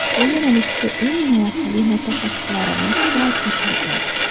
Bu yo‘nalishga eng malakali mutaxassislarimiz jalb etilgan.